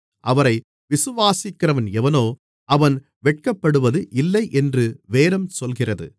அவரை விசுவாசிக்கிறவன் எவனோ அவன் வெட்கப்படுவது இல்லை என்று வேதம் சொல்லுகிறது